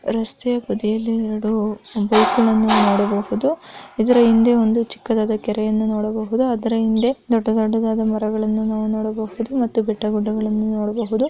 ರಸ್ತೆಯ ಬದಿಯಲ್ಲಿ ಎರಡು ಬೈಕುಗಳನ್ನು ನೋಡಬಹುದು ಇದರ ಹಿಂದೆ ಒಂದು ಚಿಕ್ಕದಾದ ಕೆರೆಯನ್ನು ನೋಡಬಹುದು ಅದರ ಹಿಂದೆ ದೊಡ್ಡ ದೊಡ್ಡದಾದ ಮರಗಳನ್ನುನಾವು ನೋಡಬಹುದು ಮತ್ತು ಬೆಟ್ಟ ಗುಡ್ಡಗಳನ್ನು ನೋಡಬಹುದು.